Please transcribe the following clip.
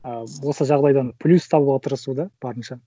ы осы жағдайдан плюс табуға тырысу да барынша